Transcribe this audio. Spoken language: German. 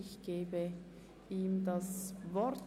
Ich gebe dem Antragsteller das Wort.